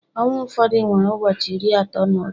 Ọnwa ụfọdụ nwere ụbọchị iri atọ na otu